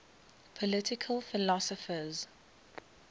political philosophers